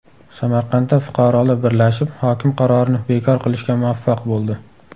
Samarqandda fuqarolar birlashib hokim qarorini bekor qilishga muvaffaq bo‘ldi .